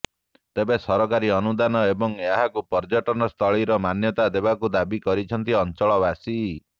ତେବେ ସରକାରୀ ଅନୁଦାନ ଏବଂ ଏହାକୁ ପର୍ଯ୍ୟଟନ ସ୍ଥଳୀ ର ମାନ୍ୟତା ଦେବାକୁ ଦାବି କରିଛନ୍ତି ଅଞ୍ଚଳ ବାସୀ